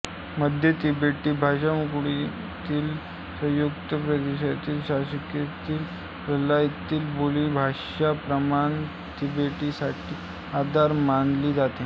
मध्य तिबेटी भाषाकुळातील यूत्सांग प्रादेशिक शाखेतील ल्हासा येथील बोलीभाषा प्रमाण तिबेटीसाठी आधार मानली जाते